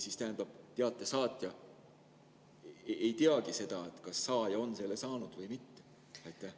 See tähendab, et teate saatja ei teagi, kas saaja on selle saanud või mitte.